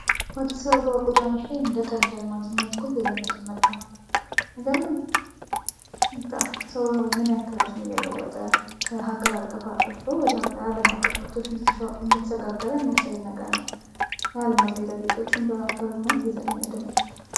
በአዲስ አበባ ጎዳናዎች ላይ እንደ ቀልድ አልማዝን ማየት እኮ እየለመድን መጣን። አይገርምም ሰው ምን ያል ራሱን እየለወጠ ከሀገር አቀፍ አልፎ ወደ ዓለም አቀፍ ምርቶች እንደ ተሸጋገረ የሚያሳይ ነገር ነው። የአልማዝ ጌጣጌጦችን በአካባቢው ማየት እየተለመደ መጥቷል።